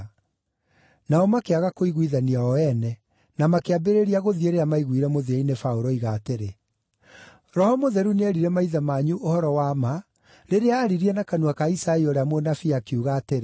Nao makĩaga kũiguithania o ene, na makĩambĩrĩria gũthiĩ rĩrĩa maaiguire mũthia-inĩ Paũlũ oiga atĩrĩ, “Roho Mũtheru nĩeerire maithe manyu ũhoro wa ma rĩrĩa aaririe na kanua ka Isaia ũrĩa mũnabii, akiuga atĩrĩ: